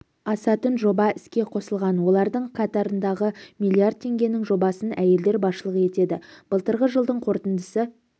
асатын жоба іске қосылған олардың қатарындағы миллиард теңгенің жобасына әйелдер басшылық етеді былтырғы жылдың қорытындысы